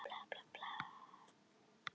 Stóð rétturinn í